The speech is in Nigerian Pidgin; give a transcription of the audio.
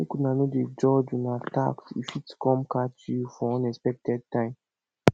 make una no dey dodge una tax e fit come catch you for unexpected time